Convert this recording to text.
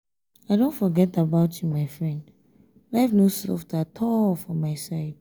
i don forget about you my friend life no soft at all for my side.